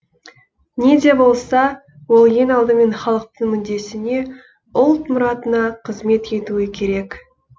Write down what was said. не де болса ол ең алдымен халықтың мүддесіне ұлт мұратына қызмет етуі керек